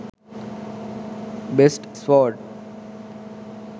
best sword